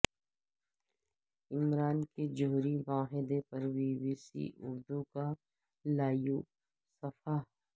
ایران کے جوہری معاہدے پر بی بی سی اردو کا لائیو صفحہ